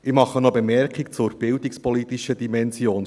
Ich mache noch eine Bemerkung zur bildungspolitischen Dimension.